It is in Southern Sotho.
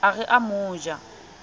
a re o mo ja